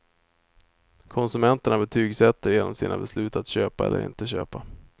Konsumenterna betygsätter genom sina beslut att köpa eller inte köpa.